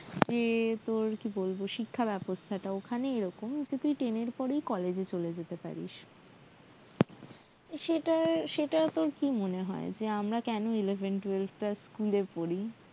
মানে যে তোর শিক্ষা ব্যবস্থাটা ওখানে এরকম যে তুই ten এর পরেই তুই college এ চলে যেতে পারিস সেটার সেটা তোর কি মনে হয় যে আমরা কেন eleven twelve টা school এ পড়ি